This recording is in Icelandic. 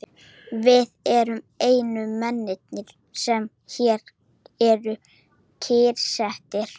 Við erum einu mennirnir, sem hér eru kyrrsettir.